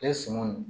E sɔngɔ in